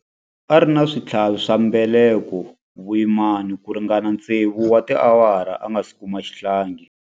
A ri na switlhavi swa mbeleko vuyimani ku ringana tsevu wa tiawara a nga si kuma xihlangi.